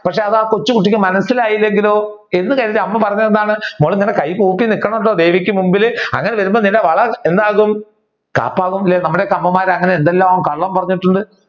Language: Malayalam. പക്ഷെ അത് ആ കൊച്ചു കുട്ടിക്ക് മനസിലായില്ലെങ്കിലോ എന്ന് കരുതി അമ്മ പറഞ്ഞത് എന്താണ് മോളെ ഇങ്ങനെ കൈ കൂപ്പി നിക്കണോട്ടോ ദേവിക്ക് മുൻപിൽ അങ്ങനെ ചെയ്യുമ്പോൾ നിന്റെ വള എന്താകും കാപ്പാകും അല്ലെ നമ്മുടെ അമ്മമാർ അങ്ങനെയെന്തെല്ലാം കള്ളം പറഞ്ഞിട്ടുണ്ട്.